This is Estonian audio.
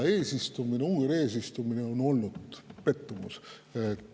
Ungari eesistumine on olnud pettumus.